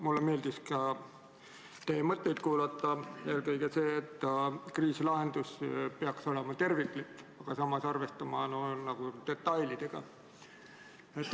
Mulle meeldis teie mõtteid kuulata ja eelkõige meeldis see, et kriisi lahendus peaks olema terviklik ja samas arvestama detailidega.